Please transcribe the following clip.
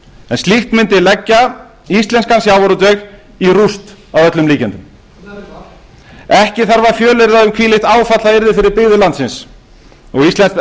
en slíkt mundi leggja íslenskan sjávarútveg í rúst að öllum líkindum ekki þarf að fjölyrða um hvílíkt áfall það yrði fyrir byggðir landsins og íslenskt